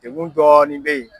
Degun dɔɔni bɛ ye.